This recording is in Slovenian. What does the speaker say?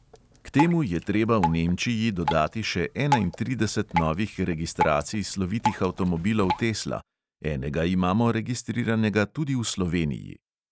K temu je treba v nemčiji dodati še enaintrideset novih registracij slovitih avtomobilov tesla (enega imamo registriranega tudi v sloveniji!).